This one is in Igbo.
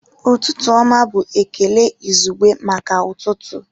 Ụtụtụ ọma bụ ekele izugbe maka ụtụtụ